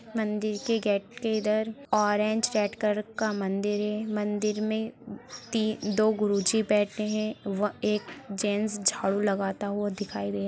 मंदिर के गेट के इधर ऑरेंज रेड कलर का मंदिर है मंदिर में ती दो गुरुजी बैठे हैं व एक जेंट्स झाड़ू लगाता हुआ दिखाई दे --